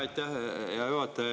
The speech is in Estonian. Aitäh, hea juhataja!